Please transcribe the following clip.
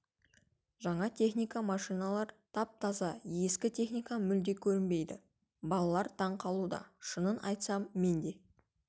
жаңа техника машиналар тап-таза ескі техника мүлде көрінбейді балалар таң қалуда шынын айтсам мен де